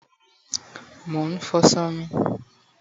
mo nfo aso mi